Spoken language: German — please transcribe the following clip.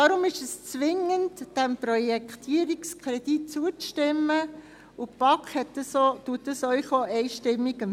Darum ist es zwingend, diesem Projektierungskredit zuzustimmen, und die BaK empfiehlt Ihnen dies auch einstimmig.